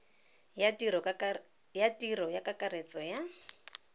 ya tiro ya kakaretso ya